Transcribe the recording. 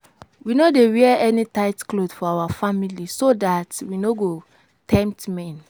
We no dey wear any tight cloth for our family so dat we no go tempt men